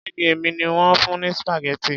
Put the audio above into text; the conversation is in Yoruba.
Béèni èmi ni wón fún ní spaghetti.